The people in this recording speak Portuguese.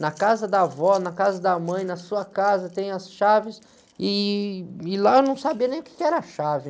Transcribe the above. Na casa da vó, na casa da mãe, na sua casa tem as chaves e, e lá eu não sabia nem o quê que era chave.